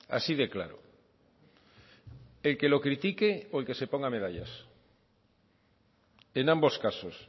así de claro el que lo critique o el que se ponga medallas en ambos casos